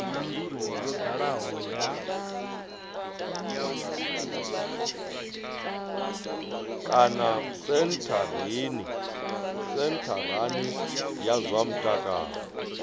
kana sentharani ya zwa mutakalo